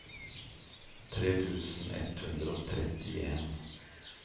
tre tusen ett hundre og trettien